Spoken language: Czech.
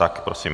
Tak prosím.